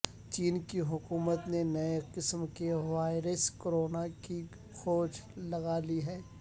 چین کی حکومت نے نئے قسم کی وائرس کرونا کی کھوج لگا لی ہے